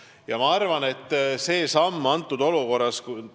Ja ma arvan, et see oli selles olukorras õige samm.